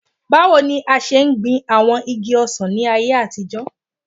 Bawo ni a ṣe gbin awọn igi ọsàn ni ayé àtijọ́